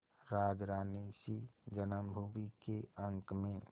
राजरानीसी जन्मभूमि के अंक में